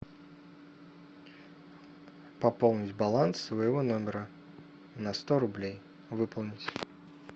пополнить баланс своего номера на сто рублей выполнить